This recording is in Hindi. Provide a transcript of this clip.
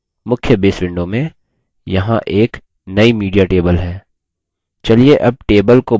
मुख्य base window में यहाँ एक नई media table है